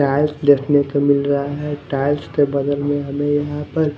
tiles देखने को मिल रहा है टाइल्स के बगल में हमे यहाँ पर--